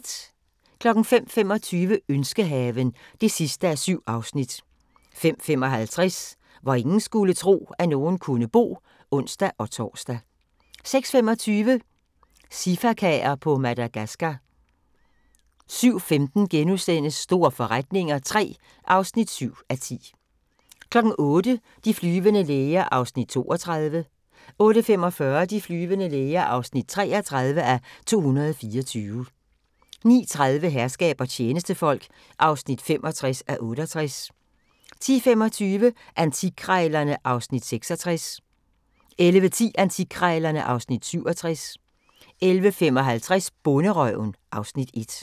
05:25: Ønskehaven (7:7) 05:55: Hvor ingen skulle tro, at nogen kunne bo (ons-tor) 06:25: Sifakaer på Madagascar 07:15: Store forretninger III (7:10)* 08:00: De flyvende læger (32:224) 08:45: De flyvende læger (33:224) 09:30: Herskab og tjenestefolk (65:68) 10:25: Antikkrejlerne (Afs. 66) 11:10: Antikkrejlerne (Afs. 67) 11:55: Bonderøven (Afs. 1)